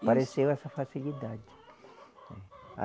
Apareceu essa facilidade.